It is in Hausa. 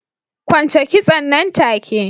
Kwance kitson nan take!